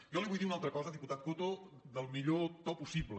jo li vull dir una altra cosa diputat coto del millor to possible